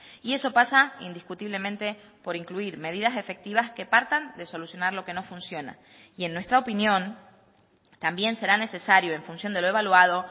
y eso pasa indiscutiblemente por incluir medidas efectivas que partan de solucionar lo que no funciona y en nuestra opinión también será necesario en función de lo evaluado